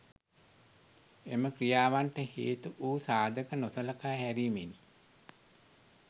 එම ක්‍රියාවන්ට හේතු වු සාධක නොසලකා හැරීමෙනි